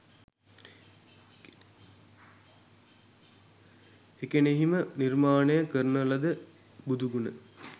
එකෙණෙහි ම නිර්මාණය කරන ලද බුදු ගුණ